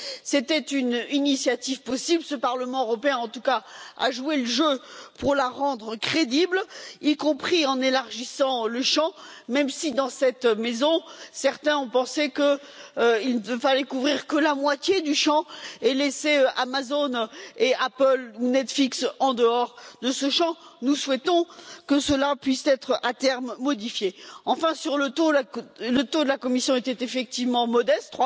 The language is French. C'était une initiative possible, ce Parlement européen, en tout cas, a joué le jeu pour la rendre crédible, y compris en élargissant le champ, même si, dans cette maison, certains ont pensé qu'il ne fallait couvrir que la moitié du champ et laisser Amazon et Apple ou Netflix en dehors de ce champ. Nous souhaitons que cela puisse être à terme modifié. Enfin, sur le taux, celui de la Commission était effectivement modeste,